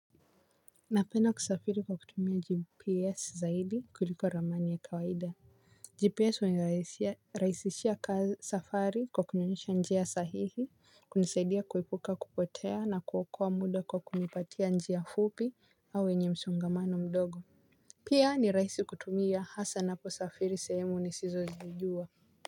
Napenda kusafiri kwa kutumia GPS zaidi kuliko ramani ya kawaida GPS unirahisishia safari kwa kunionyesha njia sahihi kunisaidia kuepuka kupotea na kuokoa muda kwa kunipatia njia fupi au wenye msongamano mdogo. Pia ni rahisi kutumia hasa napo safiri sehemu nisizozijua.